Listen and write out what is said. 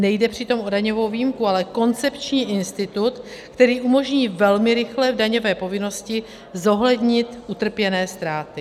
Nejde přitom o daňovou výjimku, ale koncepční institut, který umožní velmi rychle v daňové povinnosti zohlednit utrpěné ztráty.